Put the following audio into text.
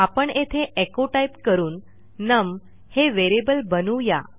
आपण येथे echoटाईप करूनnum हे व्हेरिएबल बनवू या